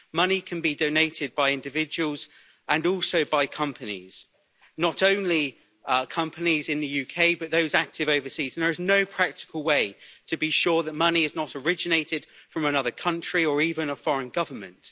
Money can be donated by individuals and also by companies, not only companies in the UK, but those active overseas, and there is no practical way to be sure that money is not originated from another country or even a foreign government.